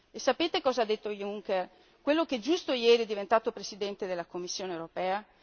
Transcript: E sapete cosa ha detto Juncker, quello che giusto ieri è diventato Presidente della Commissione europea?